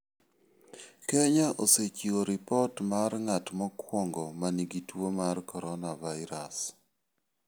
Kenya osechiwo ripot mar ng'at mokwongo ma nigi tuo mar coronavirus.